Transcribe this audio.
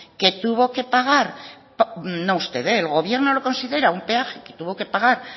que tuvo que pagar no usted el gobierno